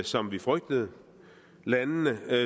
som vi frygtede landene